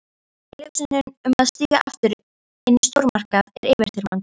Tilhugsunin um að stíga aftur inn í stórmarkað er yfirþyrmandi.